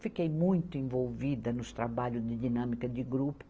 Fiquei muito envolvida nos trabalhos de dinâmica de grupo.